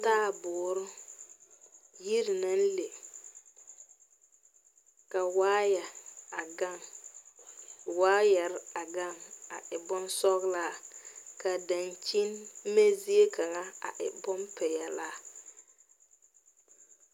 Taabuur yire na le ka waayɛ a gaŋ. Waayɛre a gaŋ a e boŋ sɔglaa. Ka dankyen-me zie kanga a e boŋ piɛlaa